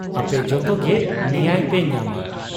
ᱟᱯᱮ ᱡᱚᱛᱚᱜᱮ ᱱᱮᱭᱟᱭ ᱯᱮ ᱧᱟᱢᱟ ᱾